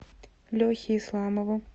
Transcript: лехе исламову